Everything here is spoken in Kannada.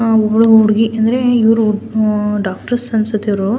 ಆಹ್ಹ್ ಒಬ್ಳು ಹುಡುಗಿ ಅಂದ್ರೆ ಇವ್ರು ಹು ಡಾಕ್ಟರ್ಸ್ ಅನ್ಸುತ್ತೆ ಇವ್ರು.